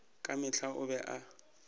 ka mehla o be a